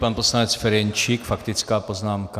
Pan poslanec Ferjenčík - faktická poznámka.